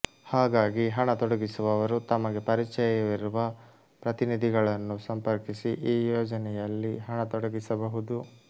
ಹಾಗಾಗಿ ಹಣ ತೊಡಗಿಸುವವರು ತಮಗೆ ಪರಿಚಯವಿರುವ ಪ್ರತಿನಿಧಿಗಳನ್ನು ಸಂಪರ್ಕಿಸಿ ಈ ಯೋಜನೆಯಲ್ಲಿ ಹಣ ತೊಡಗಿಸಬಹುದು